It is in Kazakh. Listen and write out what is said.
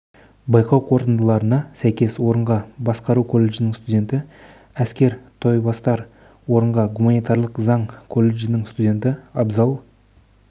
байқау қорытындыларына сәйкес орынға басқару колледжінің студенті әскер тойбастар орынға гуманитарлық заң колледжінің студенті абзал